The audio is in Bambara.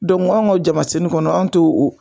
Dɔnku an ka jamasenni kɔnɔ an te o